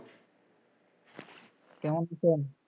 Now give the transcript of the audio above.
কেমন আছেন?